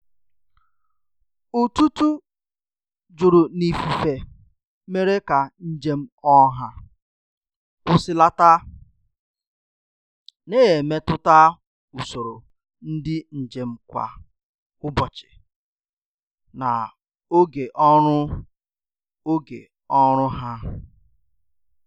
Ututu juru n'ifufe mere ka njem ọha kwusilata, na-emetụta usoro ndị njem kwa ụbọchị na oge ọrụ oge ọrụ ha.